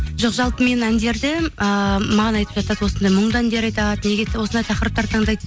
жоқ жалпы мен әндерді ыыы маған айтып жатады осындай мұңды әндер айтады неге осындай тақырыптарды таңдайды